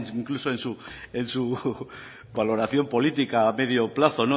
incluso en su valoración política a medio plazo